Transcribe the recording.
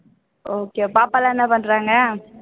okay பாப்பா எல்லாம் என்ன பண்றாங்க